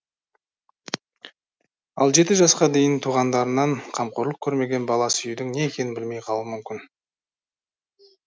ал жеті жасқа дейін туғандарынан қамқорлық көрмеген бала сүюдің не екенін білмей қалуы мүмкін